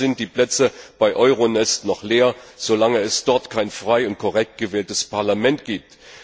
Denn leider sind die Plätze bei Euronest noch leer, solange es dort kein frei und korrekt gewähltes Parlament gibt.